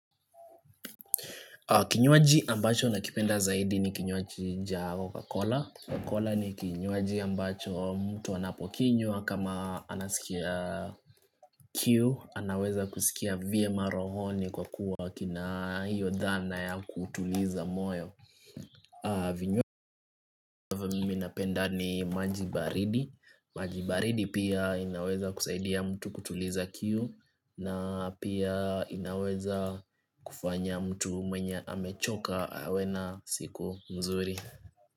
Kinywaji ambacho nakipenda zaidi ni kinywaji nja koka kola. Kokola ni kinywaji ambacho mtu anapokinywa kama anasikia kiu. Anaweza kusikia vyemacrohoni kwa kuwa kina hiyo dhana ya kutuliza moyo. Vinyo minapenda ni maji baridi maji baridi pia inaweza kusaidia mtu kutuliza kiu na pia inaweza kufanya mtu mwenye amechoka awe na siku mzuri.